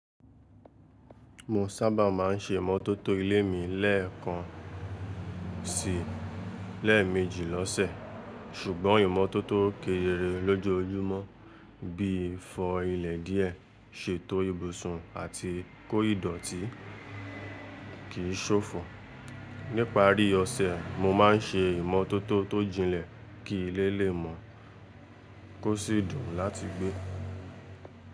Mo sábà máa ń se ìmọ́tótó ilé mi lẹ́ẹ̀kan sí lẹ́ẹ̀mejì lọ́sẹ̀. Ṣùgbọ́n ìmọ́tótó kéré lójojúmọ́ bí fọ ilẹ̀ díẹ̀, ṣètò ibùsùn àti kó ìdọ̀tí kìí ṣòfò. Níparí ọ̀sẹ̀, mo máa ń se ìmọ́tótó tó jinlẹ̀ kí ilé lè mọ́ kó sì dùn láti gbé.